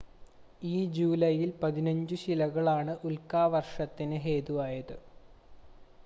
ഈ ജൂലൈയിൽ പതിനഞ്ചു ശിലകളാണ് ഉൽക്കാവർഷത്തിന് ഹേതുവായത്